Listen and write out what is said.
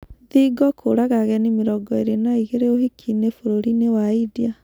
Thingo kũũraga ageni mĩrongo ĩĩrĩ na ĩgĩrĩ ũhiki-inĩ bũrũri-inĩ wa India